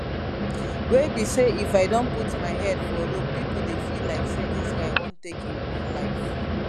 wey be say if i don put my head for rope pipo dey feel like say dis guy wan take im own life